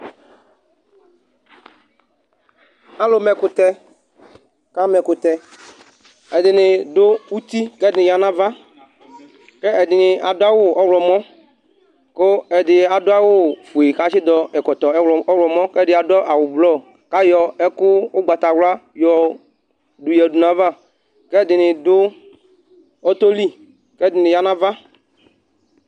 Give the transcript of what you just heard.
alũ ma ɛkũtẽ kama ɛkũtẽ edini dũ uti kɛdini yava ke ɛdini aduawʊ ɔylɔ mɔ kʊ edï adu awũ fué katsi dɔ ɛkɔtɔ ɔylɔmɔ kediadɔ awʊ blɔ kayɔ ɛkũ ʊgbata wla yɔduya du nayava kɛdini du ɔtɔli kedini yanava